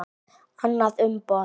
Annað umboð.